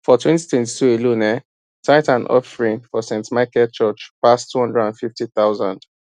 for twenty twenty two alone um tithe and offering for st michael church pass two hundred and fifty thousand